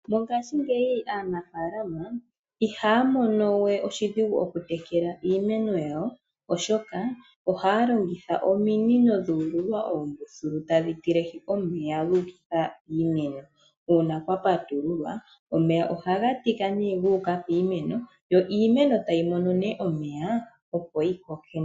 Mongashingeyi aanafaalama ihaya mono we oshidhigu oku tekela iimeno yawo, oshoka ohaya longitha ominino dhuululwa oombuthulu tadhi tilehi omeya guukitha piimeno. Uuna kwa patululwa omeya ohaga tika ne guuka piimeno yo iimeno tayi mono ne omeya opo yi koke nawa.